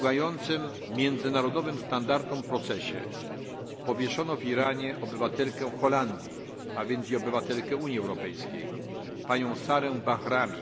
po urągającym międzynarodowym standardom procesie powieszono w Iranie obywatelkę Holandii, a więc i obywatelkę Unii Europejskiej, panią Sarah Bahrami.